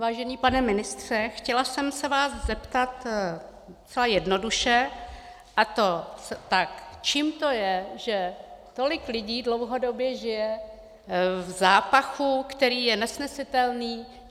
Vážený pane ministře, chtěla jsem se vás zeptat docela jednoduše, a to tak: Čím to je, že tolik lidí dlouhodobě žije v zápachu, který je nesnesitelný?